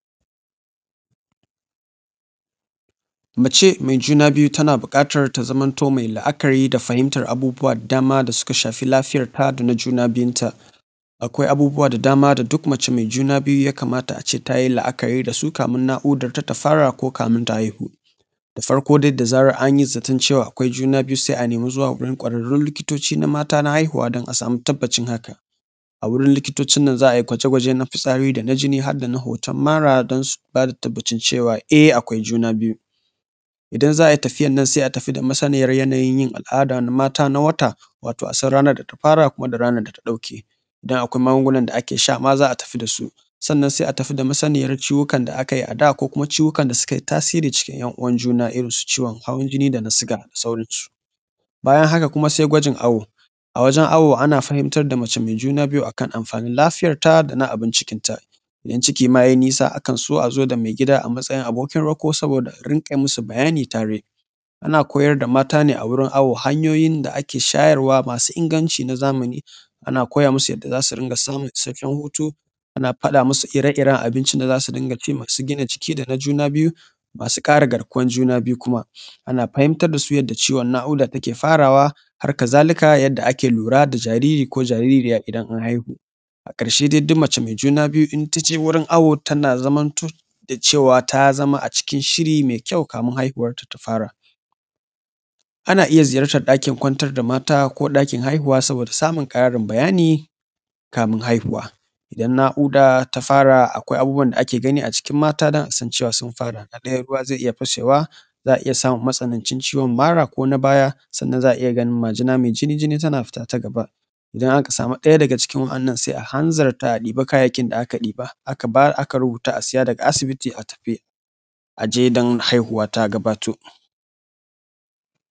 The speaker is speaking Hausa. Mace mai juna biyu tana buƙatar ta zamanto mai la’akari da fahimtar abubuwa da dama da suka shafi lafiyar ta da na juna biyun ta. Akwai abubuwa da dama da duk mace mai juna biyu ya kamata a ce ta yi la’akari da su kafin naƙudar ta ta fara ko ta haihu. Da farko dai da zaran an yi zaton cewa akwai juna biyu sai a nemi zuwa wurin ƙwararrun likitoci na mata na haihuwa don a samu tabbacin hakan. A wurin likitocin nan za a yi gwaje-gwajen na fitsari da na jini har da na hoton mara don su bada tabbacin cewa eh akwai juna biyu. Idan za a yi tafiyan nan sai a tafi da masaniyar yanayin yin al’ada na mata na wata, wato a san ranar da ta fara kuma da ranar da ta ɗauke idan akwai magungunan da ake sha ma za a tafi da su. Sannan sai a tafi da masaniyar ciwukan da aka yi a da ko kuma ciwukan da suka yi tasiri irin ‘yan uwan juna irin su ciwon hawan jini da na siga da sauran su. Bayan haka kuma sai gwajin awo, a wajen awo ana fahimtar da mace mai juna biyu akan amfanin lafiyar ta da na abin cikin ta. Idan ciki ma ya yi nisa akan so a zo da mai gida a matsayin abokin rako saboda a rinƙa masu bayani tare. Ana koyar da mata ne a wurin awo hanyoyin da ake shayarwa masu inganci na zamani, ana koya masu yadda za su rinƙa sanin sabbin hutu, ana faɗa masu ire-iren abincin da za su rinƙa ci masu gina jiki da na juna biyu masu kare garkuwan juna biyu kuma ana fahimtar da su yadda ciwon naƙuda ta ke farawa harkazalika yadda ake lura da jariri ko jaririya idan an haihu. A ƙarshe dai duk mace mai juna biyu in ta je wajen awo tana zamanto da cewa ta zama a cikin shiri mai kyau kamin haihuwar ta ta fara. Ana iya ziyartar ɗakin kwantar da mata ko ɗakin haihuwa saboda samun ƙarin bayani kamin haihuwa. Idan naƙuda ta fara akwai abubuwan da ake gani a cikin mata don a san cewa sun fara, na ɗaya ruwa zai iya fashewa, za a iya samun matsanancin ciwon mara ko na baya sannan za a iya ganin majina mai jini-jini tana fita ta gaba. Idan aka samu ɗaya daga cikin wannan sai a hanzarta a ɗibi kayayyakin da aka ɗiba aka bayar aka siya daga asibiti a tafi don haihuwa ta gabato.